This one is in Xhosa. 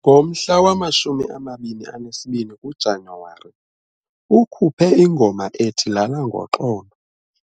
Ngomhla wama-22 kuJanyuwari, ukhuphe ingoma ethi "Lala Ngoxolo"